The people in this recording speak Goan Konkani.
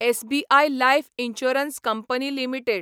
SBI life insurance company limited